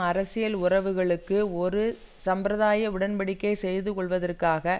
அரசியல் உறவுகளுக்கு ஒரு சம்பிரதாய உடன் படிக்கை செய்துகொள்வதற்காக